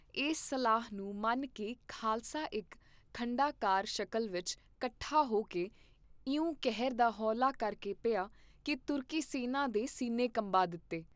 ਇਸ ਸਲਾਹ ਨੂੰ ਮੰਨ ਕੇ ਖਾਲਸਾ ਇਕ ਖੰਡਾਕਾਰ ਸ਼ਕਲ ਵਿਚ ਕੱਠਾ ਹੋਕੇ ਇਉਂ ਕਹਿਰਦਾ ਹੌਲਾ ਕਰ ਕੇ ਪਿਆ ਕੀ ਤੁਰਕੀ ਸੈਨਾ ਦੇ ਸੀਨੇ ਕੰਬਾ ਦਿੱਤੇ।